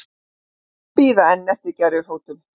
Bíða enn eftir gervifótum